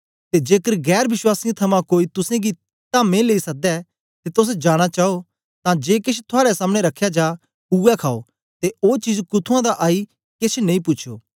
ते जेकर गैर वश्वासीयें थमां कोई तुसेंगी तामें लेई सद्दै ते तोस जाना चाओ तां जे केछ थुआड़े सामने रखया जा उवै खाओ ते ओ चीज कुथुआं दा आई केछ नेई पूछो